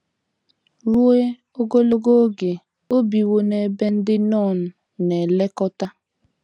Ruo ogologo oge o biwo n’ebe ndị nọn na - elekọta.